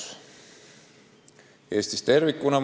See on mure Eestis tervikuna.